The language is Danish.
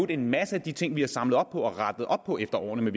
en masse af de ting vi har samlet op på og rettet op på efter årene med